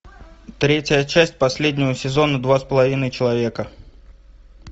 третья часть последнего сезона два с половиной человека